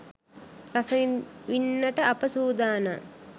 රස විින්නට අප සූදානම්